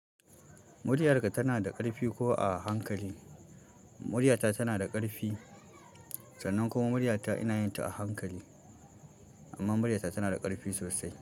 Muryar ka tana da ƙarfi ko a hankali? Muryata tana da ƙarfi, sannan kuma muryata ina yin ta a hankali. Amma muryata tana da ƙarfi sosai.